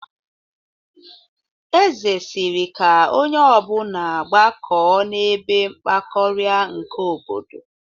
Eze sịrị ka onye ọbụna gbakọọ n'ebe mgbakọrịa nke obodo.